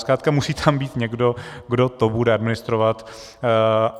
Zkrátka musí tam být někdo, kdo to bude administrovat.